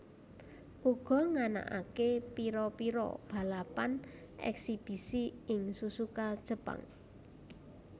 uga nganakaké pira pira balapan eksibisi ing Suzuka Jepang